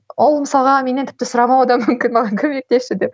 ол мысалға менен тіпті сұрамауы да мүмкін маған көмектесші деп